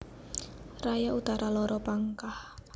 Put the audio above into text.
Raya Utara loro Pangkah